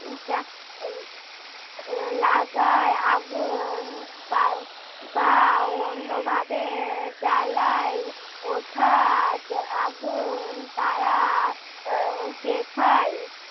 আহ লাগায় আগুন বার বা অন্যভাবে জ্বালায় ওঠা যা~ আগুন তারা আহ দেখায়